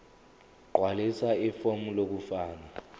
gqwalisa ifomu lokufaka